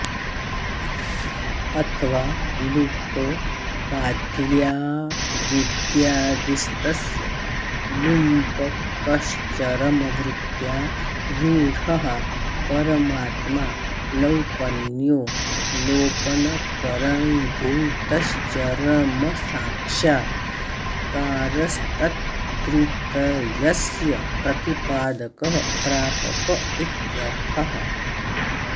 अथवा लुप्तो बाध्याऽविद्यादिस्तस्य लुम्पकश्चरमवृत्त्या रूढः परमात्मा लौपन्यो लोपनकरणीभूतश्चरमसाक्षात्कारस्तत्त्रितयस्य प्रतिपादकः प्रापक इत्यर्थः